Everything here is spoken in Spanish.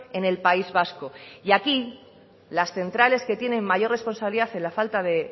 en el país vasco y aquí las centrales que tienen mayor responsabilidad en la falta de